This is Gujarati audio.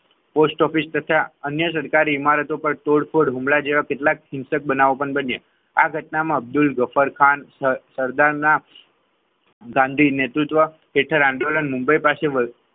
પોસ્ટ ઓફિસ થતાં અન્ય સરકારી ઇમારતો પર તોડફોડ હુમલા જેવા કેટલાક શિક્ષક બનાવવા પણ બન્યા આ ઘટનામાં અબ્દુલ જફર ખાન સરદારના ગાંધી નેતૃત્વ આંદોલન મુંબઈ પાસે